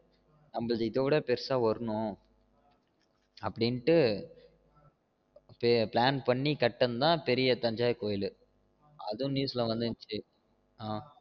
எல்லாருது கோவில் எல்லாம் பெருசா இருக்கு நம்மளது இத விட பெருசா வரணும் அப்டின்னு plan பண்ணி கட்டுனது தான் பெரிய தஞ்சை கோவில் அதுவும் news ல வந்துருந்துச்சு